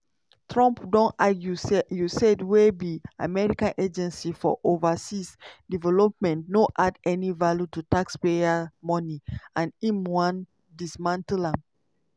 trump don argue say usaid wey be america agency for overseas development no add any value to taxpayer money and im wan dismantle am.